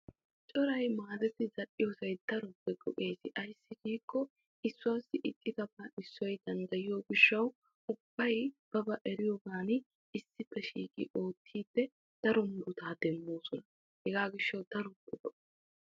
Coray maadettiddi zal'iyooge daro lo'o ayssi giikko issoy issuwa paca kunttiddi zal'iyooge dichawu keehippe lo'o.